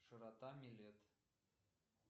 широта милет